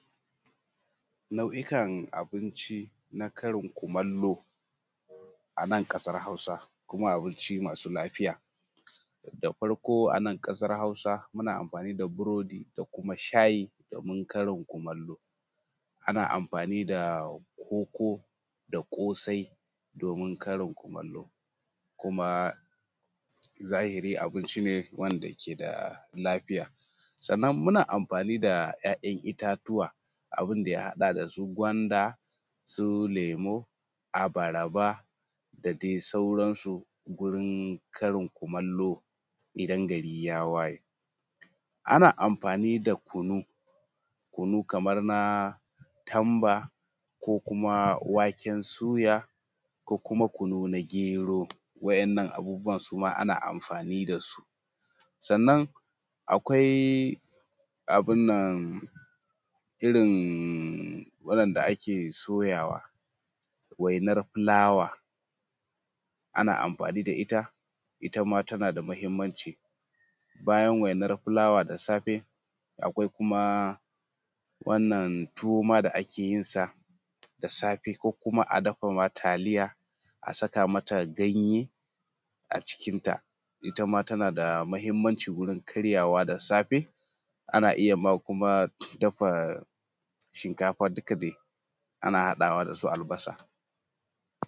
Nau’ikan abinci na karin kumallo a nan ƙasar hausa, kuma abinci masu lafiya. Da farko a nan ƙasar hausa muna amfani da burodi da kuma shayi domin karin kumallo, ana amfani da koko da ƙosai domin karin kumallo, kuma zahiri abinci ne wanda ke da lafiya, sannan muna amfani da 'ya'yan itatuwa abun da ya haɗa da su gwanda, su lemu, abarba, da dai sauransu gurin karin kumallo idan gari ya waye. Ana amfani da kunu kamar na tamba, ko kuma waken suya, ko kuma kunu na gero, wa'innan abubuwan suma ana amfani da su. Sannan akwai abun nan irin wa'inda ake soyawa wainar filawa, ana amfani da ita ita ma tana da muhimmanci. Bayan wainar filawa da safe akwai kuma wannan tuwo ma da ake yin sa da safe, ko kuma a dafa ma taliya a saka mata ganye a cikinta, ita ma tana da muhimmanci gurin karyawa da safe, ana iya ma kuma dafa shinkafa duka dai ana haɗawa da su albasa.